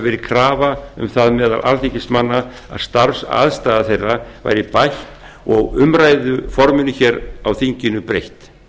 verið krafa um það meðal alþingismanna að starfsaðstaða þeirra verði bætt og umræðuforminu á þinginu breytt